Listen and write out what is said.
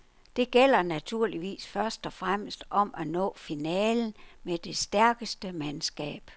Det gælder naturligvis først og fremmest om at nå finalen med det stærkeste mandskab.